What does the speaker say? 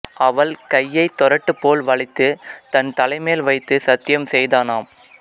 அவள் கையைத் தொரட்டு போல் வளைத்துத் தன் தலைமேல் வைத்துச் சத்தியம் செய்தானாம்